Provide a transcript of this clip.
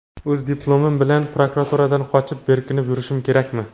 O‘z diplomim bilan prokuraturadan qochib, berkinib yurishim kerakmi?